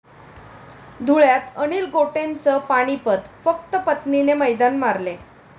धुळ्यात अनिल गोटेंचं पानिपत, फक्त पत्नीने मैदान मारले!